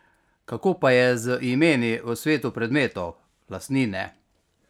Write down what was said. Kako pa je z imeni v svetu predmetov, lastnine?